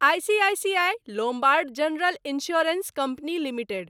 ICICI Lombard General Insurance Company limited